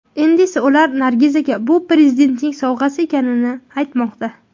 Endi esa ular Nargizaga bu Prezidentning sovg‘asi ekanini aytmoqda.